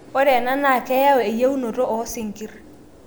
ore ena naa keyau eyieunoto oo sinkir